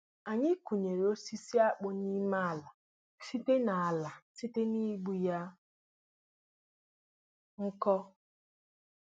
anyị kụnyere osisi akpụ n'ime ala site ala site n'igbu ya nkọ